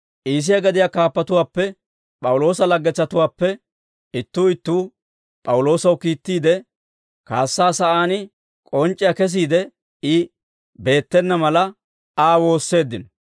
Iisiyaa gadiyaa kaappatuwaappe P'awuloosa laggetsatuwaappe ittuu ittuu P'awuloosaw kiittiide, kaassaa sa'aan k'onc'c'iyaa kesiide I beettena mala, Aa woosseeddino.